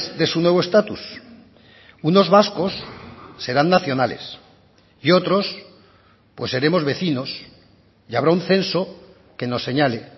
de su nuevo estatus unos vascos serán nacionales y otros pues seremos vecinos y habrá un censo que nos señale